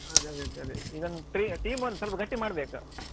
ಹ ಅದೇ ಅದೇ ಈಗ ಒಂದ್ player team ಒಂದ್ ಸ್ವಲ್ಪ ಗಟ್ಟಿ ಮಾಡ್ಬೇಕು.